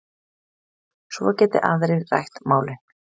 Svo geti aðrir rætt málin.